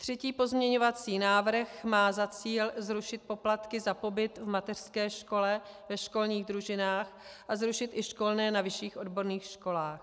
Třetí pozměňovací návrh má za cíl zrušit poplatky za pobyt v mateřské škole, ve školních družinách a zrušit i školné na vyšších odborných školách.